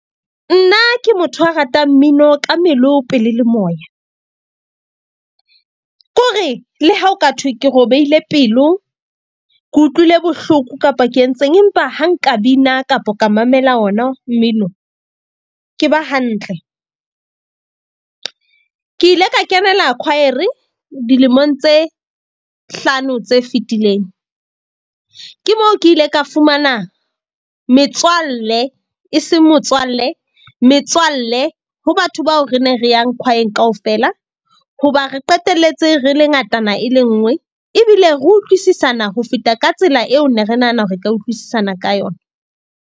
Nna ke motho a ratang mmino ka melo pelo le moya. Ke hore le ha ho ka thwe ke robehile pelo, ke utlwile bohloko kapa ke entseng. Empa ha nka bina kapo ka mamela ona, mmino ke ba hantle. Ke ile ka kenela kwaere dilemong tse hlano tse fetileng. Ke mo ke ile ka fumana metswalle e seng motswalle, metswalle ho batho bao re ne re yang kwaeng kaofela, hoba re qetelletse, re le ngatana e le nngwe. Ebile re utlwisisana ho feta ka tsela eo ne re nahana re ka utlwisisana ka yona.